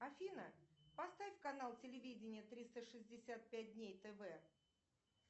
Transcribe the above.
афина поставь канал телевидения триста шестьдесят пять дней тв